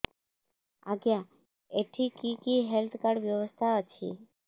ଆଜ୍ଞା ଏଠି କି କି ହେଲ୍ଥ କାର୍ଡ ବ୍ୟବସ୍ଥା ଅଛି